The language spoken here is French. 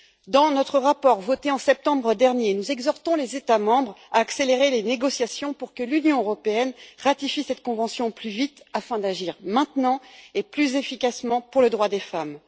Dans notre rapport voté en septembre dernier, nous exhortons les États membres à accélérer les négociations pour que l'Union européenne ratifie cette convention plus vite, afin d'agir maintenant et plus efficacement pour les droits des femmes.